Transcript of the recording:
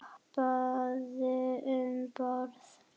Hoppaðu um borð.